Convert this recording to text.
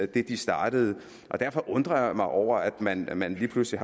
det de startede derfor undrer jeg mig over at man at man lige pludselig